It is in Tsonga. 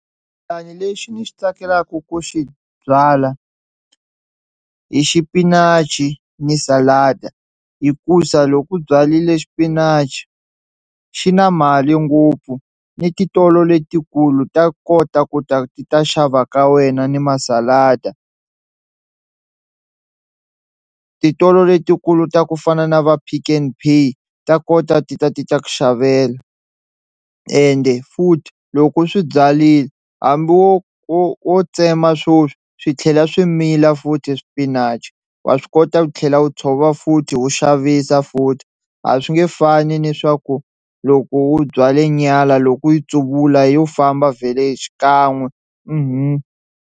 lexi ni xi tsakelaku ku xi byala i xipinachi ni salada hikusa loku u byalile xipinachi xi na mali ngopfu ni titolo letikulu ta kota ku ta ti ta xava ka wena ni ma salada, titolo letikulu ta ku fana na va Pick n Pay ta kota ti ta ti ta ku xavela ende futhi loko u swi byarile hambi wo wo wo tsema sweswi swi tlhela swi mila futhi spinach wa swi kota ku tlhela wu tshova futhi wo xavisa futhi a swi nge fani ni swa ku loko u byale nyala loko u yi tsuvula yo famba vhele xikan'we .